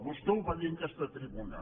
vostè ho va dir en aquesta tribuna